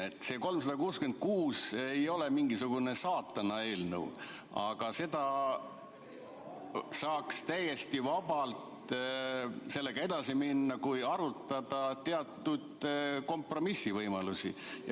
Eelnõu 366 ei ole mingisugune saatanaeelnõu, sellega saaks täiesti vabalt edasi minna, kui arutada teatud kompromissivõimalusi.